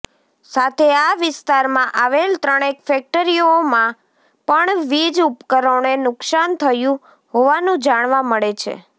સાથે આ વિસ્તારમાં આવેલ ત્રણેક ફેક્ટરીઓમાં પણ વીજ ઉપકરણોને નુકશાન થયું હોવાનું જાણવા મળે છે